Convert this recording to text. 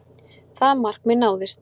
Það markmið náðist